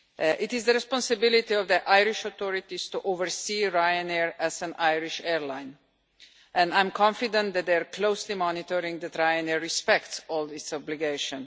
It is the responsibility of the Irish authorities to oversee Ryanair as an Irish airline and I'm confident that they are closely monitoring that Ryanair respects all its obligations.